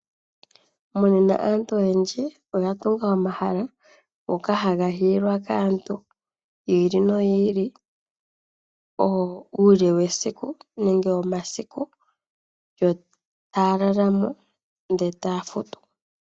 Muuyuni aantu oyendji oya tunga omahala ngoka haga hiilwa kaantu yi ili noyi ili uule wesiku nenge womasiku yo taya lala mo ndele etaya futu.